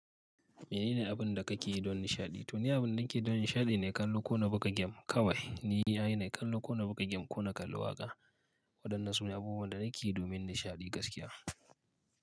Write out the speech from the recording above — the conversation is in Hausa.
Menene abin da kake yi don nishaɗi? To, ni abin da nake yi don nishaɗi ne kallo ko na buga gem. Kawai ni yana kallo ko na buga gem ko na kalli waƙa. Waɗannan su ne abubuwan da nake yi domin nishaɗi gaskiya.